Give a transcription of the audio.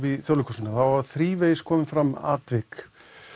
í Þjóðleikhúsinu hafa þrívegis komið fram atvik